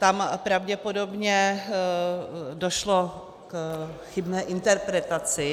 Tam pravděpodobně došlo k chybné interpretaci.